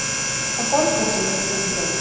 Það borgar sig ekki fyrir þau